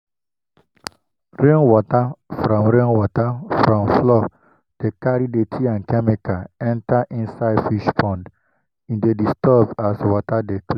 rain water from rain water from floor de carry dirty and chemical enter inisde fish pond e dey disturb as water de